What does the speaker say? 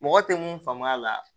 Mɔgɔ tɛ mun faamu a la